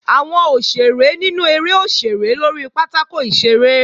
Àwọn òṣèré nínú eré ó ṣeré lórí pátákò ìṣeré